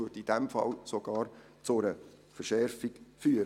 In diesem Fall würde es sogar zu einer Verschärfung führen.